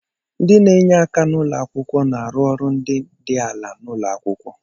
Ndị na-enye aka n'ụlọ akwụkwọ na-arụ ọrụ ndị dị ala n'ụlọ akwụkwọ.